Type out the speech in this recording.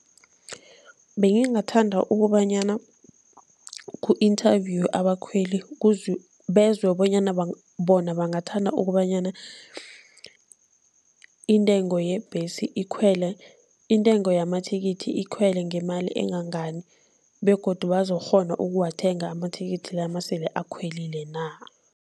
Bengingathanda ukobanyana ku-inthavuyiwe abakhweli bezwe bonyana bona bathanda ukobanyana intengo yebhesi ikhwele, intengo yamathikithi ikhwele ngemali engangani begodu bazokukghona ukuwathenga amathikithi la nasele akhwelile na.